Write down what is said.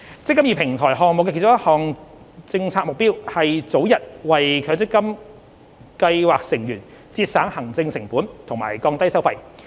"積金易"平台項目的其中一項政策目標，是早日為強積金計劃成員節省行政成本和降低收費。